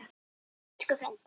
Elsku frændi.